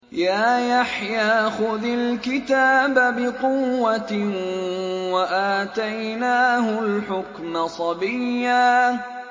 يَا يَحْيَىٰ خُذِ الْكِتَابَ بِقُوَّةٍ ۖ وَآتَيْنَاهُ الْحُكْمَ صَبِيًّا